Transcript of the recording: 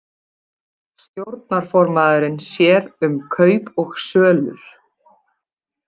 Stjórnarformaðurinn sér um kaup og sölur